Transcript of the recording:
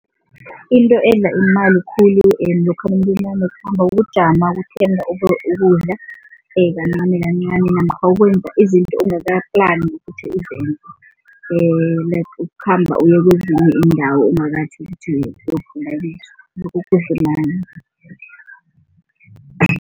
Into edla imali khulu lokha nakanekhambo ukujama, ukuthenga ukudla kancanikancani namkha ukwenza izinto ongakaplani ukuthi uzenze like ukukhamba uyekwezinye iindawo